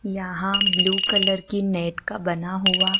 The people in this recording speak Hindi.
यहां ब्लू कलर की नेट का बना हुआ।--